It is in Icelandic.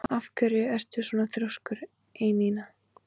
Af hverju ertu svona þrjóskur, Einína?